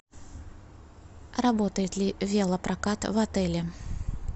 работает ли велопрокат в отеле